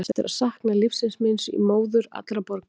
Ég á eftir að sakna lífsins míns í móður allra borga.